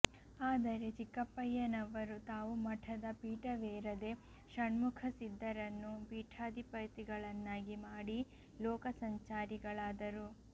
ಆದರೆ ಚಿಕ್ಕಪ್ಪಯ್ಯನವರು ತಾವು ಮಠದ ಪೀಠವೇರದೆ ಷಣ್ಮುಖಸಿದ್ಧರನ್ನು ಪೀಠಾಧಿಪತಿಗಳನ್ನಾಗಿ ಮಾಡಿ ಲೋಕ ಸಂಚಾರಿಗಳಾದರು